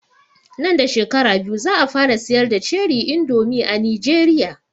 Nan da shekara biyu za a fara siyar da ( ceri indomi) a Nijeriya